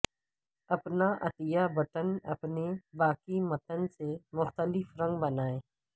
اپنا عطیہ بٹن اپنے باقی متن سے مختلف رنگ بنائیں